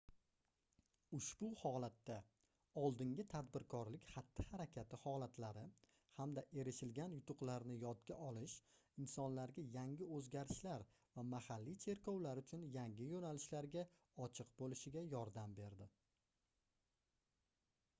ushbu holatda oldingi tadbirkorlik xatti-harakati holatlari hamda erishilgan yutuqlarni yodga olish insonlarga yangi oʻzgarishlar va mahalliy cherkovlar uchun yangi yoʻnalishlarga ochiq boʻlishiga yordam berdi